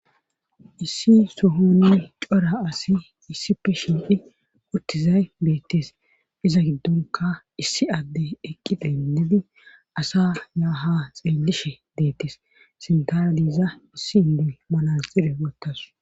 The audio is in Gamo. issi sohonni cora asi issipe shiqidi uttizay beettes iza giddonka issi adde eqqi denlidi asa yaaha xeellishe deettes sintaliza issi indoy manaxire wottasu